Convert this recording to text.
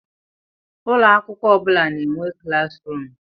Ụlọ akwụkwọ ọ bụ na-enwe klas ruum.